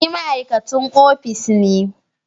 Ni ma'aikacin ofis ne